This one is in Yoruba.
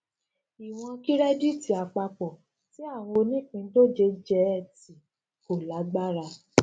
iwọn kirẹditi apapọ ti awọn onipindoje jẹ e ti ko lagbara